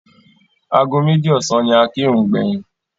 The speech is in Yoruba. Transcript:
Ago méjì ọ̀sán ni a kírun gbẹ̀yìn.